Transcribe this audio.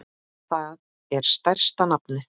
Það er stærsta nafnið.